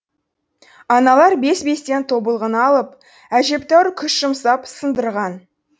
аналар бес бестен тобылғыны алып әжептәуір күш жұмсап сындырған